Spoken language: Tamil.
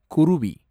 குருவி